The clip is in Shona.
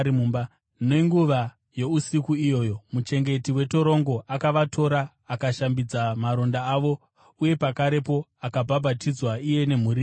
Nenguva yousiku iyoyo, muchengeti wetorongo akavatora akashambidza maronda avo; uye pakarepo, akabhabhatidzwa iye nemhuri yake.